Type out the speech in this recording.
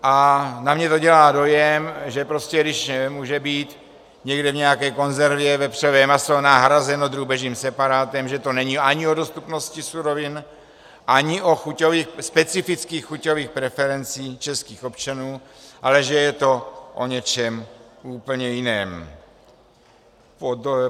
A na mě to dělá dojem, že prostě když může být někde v nějaké konzervě vepřové maso nahrazeno drůbežím separátem, že to není ani o dostupnosti surovin, ani o specifických chuťových preferencích českých občanů, ale že je to o něčem úplně jiném.